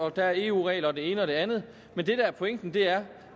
at der er eu regler og det ene og det andet men det der er pointen er